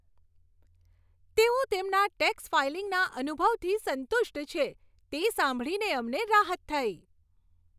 તેઓ તેમના ટેક્સ ફાઇલિંગના અનુભવથી સંતુષ્ટ છે, તે સાંભળીને અમને રાહત થઈ.